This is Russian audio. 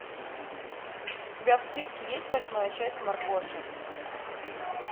у тебя в списке есть восьмая часть маргоша